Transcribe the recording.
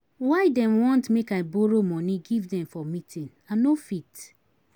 Why dem want make I borrow moni give dem for meeting? I no fit